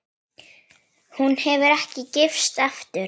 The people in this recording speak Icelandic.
Hún hefur ekki gifst aftur.